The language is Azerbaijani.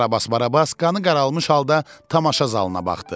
Karabas Barabas qanı qaralmış halda tamaşa zalına baxdı.